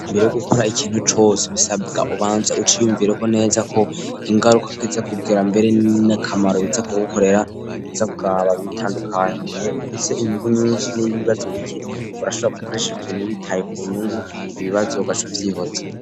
mbere yo gukora ikintu cose bisabwa ubanze uciyumvireho neza ko kungaruka k'iza kugira mbere n'akamaro biza kugukorera bizakuraba mu itandukanye mbe ufise inyungu nyinshi n'ibibazo bike urashobora gukoresha ikintu witaye ku nyungu ibibazo ugaca uvyihoza.